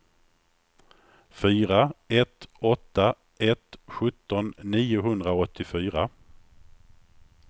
fyra ett åtta ett sjutton niohundraåttiofyra